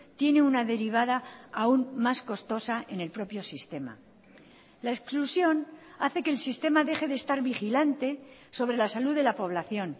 tiene una derivada aún más costosa en el propio sistema la exclusión hace que el sistema deje de estar vigilante sobre la salud de la población